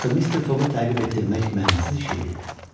Axı Mister Foqu təqib etdirmək mənasız iş idi.